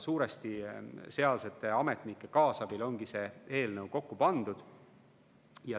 Suuresti sealsete ametnike kaasabil ongi see eelnõu kokku pandud.